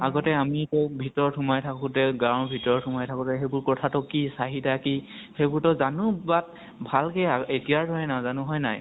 আগতে আমি কি কৰো, ভিতৰত সোমাই থাকোতে, গাওঁ ৰ ভিতৰত সোমাই থাকোতে, সেইবোৰ কথা তো কি, চাহিদা কি, সেইবোৰ তো জানো but ভাল কে আৰু এতিয়া ৰ দৰে নাজানো, হয় নাই ?